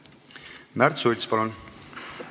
Märt Sults, palun!